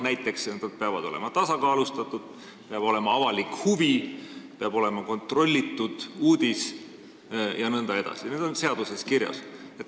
Näiteks, saated peavad olema tasakaalustatud, peab olema avalik huvi, peab olema kontrollitud uudis jne – need põhimõtted on seaduses kirjas.